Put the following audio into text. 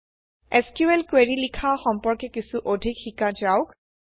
SQL query লিখা সম্পৰ্কে কিছু অধিক শিকা যাওক